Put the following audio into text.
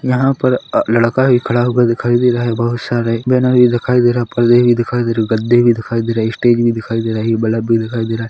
यहां पर अ लड़का भी खड़ा हो दिखाई दे रहा है बहुत सारे भी दिखाई दे रहा है पर्दे भी दिखाई दे रहे हैं और गद्दे भी दिखाई दे रहे है स्टेज भी दिखाई दे रहा है दिखाई दे रहा है।